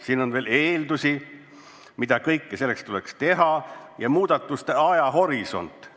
Siin on veel eeldusi, mida kõike selleks tuleks teha, ja muudatuste ajahorisont.